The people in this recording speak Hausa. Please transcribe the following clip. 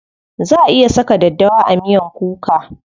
Za a iya saka daddawa a miyan kuka.